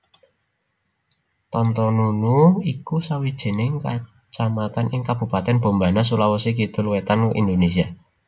Tontonunu iku sawijining kacamatan ing Kabupatèn Bombana Sulawesi Kidul wétan Indonésia